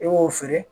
I b'o feere